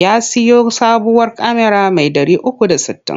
Ya siyo sabuwar kyamara mai 360.